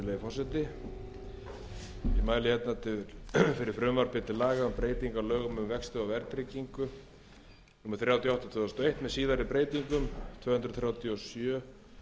á lögum um vexti og verðtryggingu númer þrjátíu og átta tvö þúsund og eitt með síðari breytingum sem er tvö hundruð þrítugustu og sjöunda mál